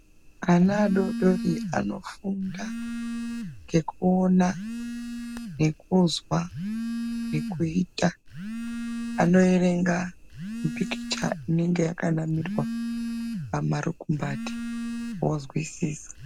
Ana adodori anofunga ndekuona , nekuzwa, nekuita, anoerenga mipikicha inenge yakanamirwa pamarukumbati vozwisisa.